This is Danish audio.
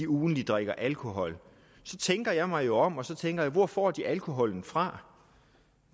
ugentlig drikker alkohol tænker jeg mig jo om og så tænker jeg hvor får de alkoholen fra